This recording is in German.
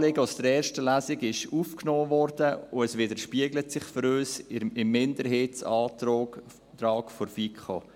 Unser Anliegen aus der ersten Lesung wurde aufgenommen, und es widerspiegelt sich für uns im Minderheitsantrag der FiKo.